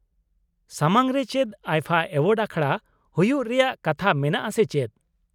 ᱥᱟᱢᱟᱝ ᱨᱮ ᱪᱮᱫ ᱟᱭᱯᱷᱟ ᱮᱣᱟᱨᱰᱥ ᱟᱠᱷᱲᱟ ᱦᱩᱭᱩᱜ ᱨᱮᱭᱟᱜ ᱠᱟᱛᱷᱟ ᱢᱮᱱᱟᱜᱼᱟ ᱥᱮ ᱪᱮᱫ?